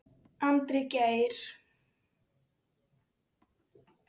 Andri Geir.